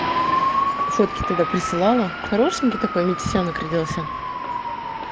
фотки тогда присылала хорошенький такой метисенок родился